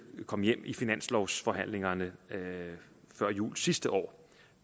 kom hjem under finanslovsforhandlingerne før jul sidste år